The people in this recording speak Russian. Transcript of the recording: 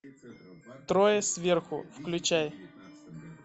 трое сверху включай